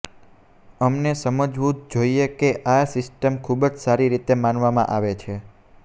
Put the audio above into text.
અમને સમજવું જ જોઈએ કે આ સિસ્ટમ ખૂબ સારી રીતે માનવામાં આવે છે